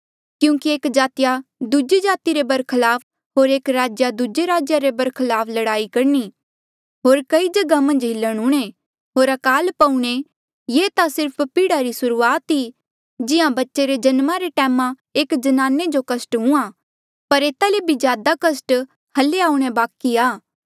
क्यूंकि एक जातिया दूजी जाति रे बरखलाफ होर एक राज्या दूजे राज्या रे बरखलाफ लड़ाई करणी होर कई जगहा पर हिलण हूंणे होर अकाल पौऊणे ये ता सिर्फ पीड़ा री सुरूआत ई जिहां बच्चे रे जन्मा रे टैम एक जनाने जो कस्ट हूंहाँ पर एता ले बी ज्यादा कस्ट हल्ली आऊणें बाकि ऐें